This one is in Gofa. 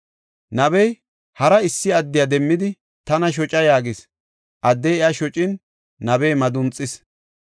Nabey hara issi adde demmidi, “Tana shoca” yaagis. Addey iya shocin, nabey madunxis.